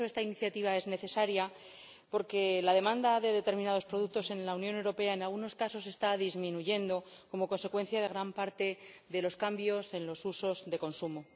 Por eso esta iniciativa es necesaria, porque la demanda de determinados productos en la Unión Europea, en algunos casos, está disminuyendo como consecuencia de gran parte de los cambios en los usos de consumo.